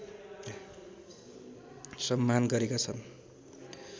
सम्मान गरेका छन्